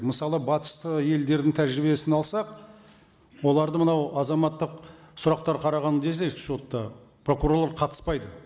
мысалы батысты елдердің тәжірибесін алсақ оларды мынау азаматтық сұрақтар қараған кезде сотта прокурорлар қатыспайды